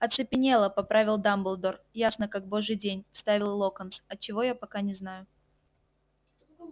оцепенела поправил дамблдор ясно как божий день вставил локонс от чего я пока не знаю